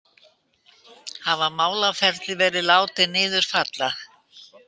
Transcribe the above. Hafa málaferli verið látin niður falla